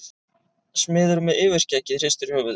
Smiðurinn með yfirskeggið hristir höfuðið.